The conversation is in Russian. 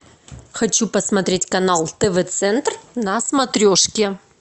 хочу посмотреть канал тв центр на смотрешке